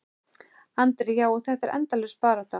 Andri: Já, og þetta er endalaus barátta?